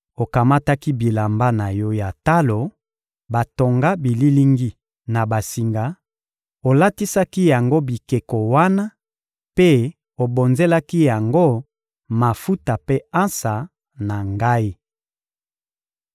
Okamataki bilamba na yo ya talo batonga bililingi na basinga, olatisaki yango bikeko wana mpe obonzelaki yango mafuta mpe ansa na Ngai.